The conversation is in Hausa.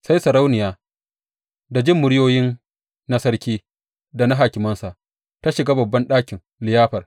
Sai sarauniya, da jin muryoyi na sarki da na hakimansa, ta shiga babban ɗakin liyafar.